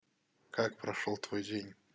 как прошёл твой день